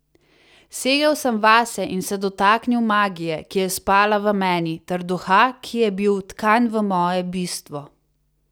Segel sem vase in se dotaknil magije, ki je spala v meni, ter duha, ki je bil vtkan v moje bistvo.